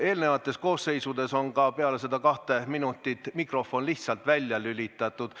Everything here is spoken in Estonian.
Eelmistes koosseisudes on peale seda kahte minutit teinekord mikrofon lihtsalt välja lülitatud.